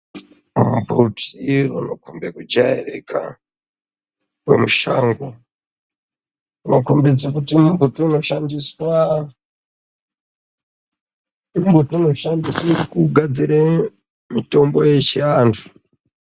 Mimbiti inokombe kujairika yemushango inokombidze kuti mumbuti unoshandiswa mumbuti unoshandiswe kugadzire mutombo yechiantu.